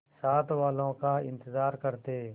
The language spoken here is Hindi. साथ वालों का इंतजार करते